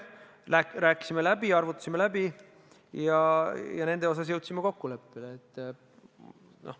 Rääkisime läbi, arvutasime läbi ja nende osas jõudsime kokkuleppele.